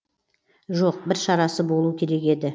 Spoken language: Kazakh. жоқ бір шарасы болу керек еді